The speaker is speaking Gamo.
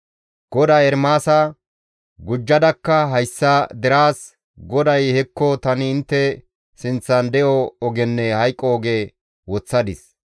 GODAY Ermaasa, «Gujjadakka hayssa deraas, ‹GODAY hekko tani intte sinththan de7o ogenne hayqo oge woththadis.